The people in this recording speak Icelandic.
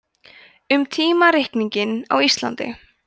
um tímareikning á íslandi